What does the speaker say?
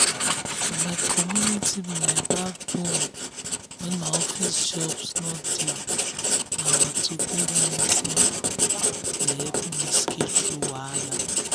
na my community be my backbone when office jobs no dey na our togetherness um dey help me scale through wahala.